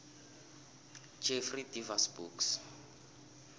jeffrey deavers books